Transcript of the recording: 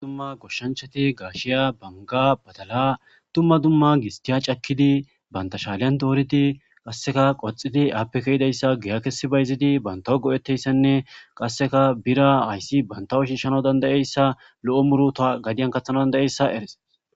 dumma goshshanchati gaashiya banga badala tumma dumma gistiya cakkidi banta shaaliyan dooridi qasseka qoxidi appekayidayssa giyakesi bayzidi bantawo go7eteyssenne qasseka bira hayssi bantawu shiishshana dandayeyssa lo7o muru ta gadiyan kathana dandayeyssa eres